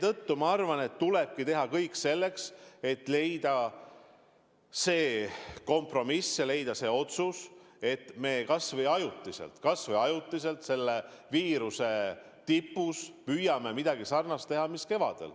Jah, ma arvan, et tulebki teha kõik selleks, et leida kompromiss ja teha otsus, et me kas või ajutiselt, selle viiruse tipus, püüame teha midagi sarnast nagu kevadel.